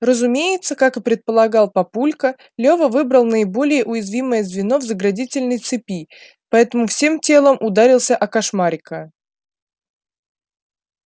разумеется как и предполагал папулька лева выбрал наиболее уязвимое звено в заградительной цепи поэтому всем телом ударился о кошмарика